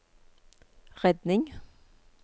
redning